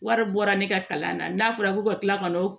Wari bɔra ne ka kalan na n'a fɔra ko ka tila ka na o